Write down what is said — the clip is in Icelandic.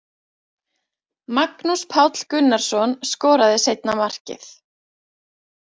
Magnús Páll Gunnarsson skoraði seinna markið.